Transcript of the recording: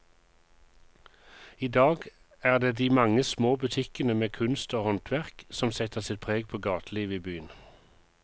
I dag er det de mange små butikkene med kunst og håndverk som setter sitt preg på gatelivet i byen.